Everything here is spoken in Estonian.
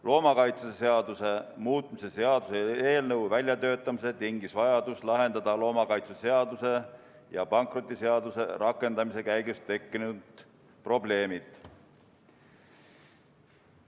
Loomakaitseseaduse muutmise seaduse eelnõu väljatöötamise tingis vajadus lahendada loomakaitseseaduse ja pankrotiseaduse rakendamise käigus tekkinud probleemid.